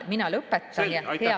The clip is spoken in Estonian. Mina lõpetan, jah.